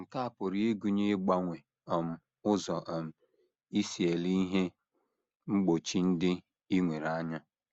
Nke a pụrụ ịgụnye ịgbanwe um ụzọ um i si ele ihe mgbochi ndị i nwere anya.